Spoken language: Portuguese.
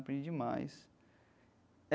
Aprendi demais.